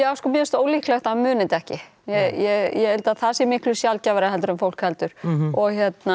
já sko mér finnst ólíklegt að hann muni þetta ekki ég held að það sé miklu sjaldgæfara en fólk heldur og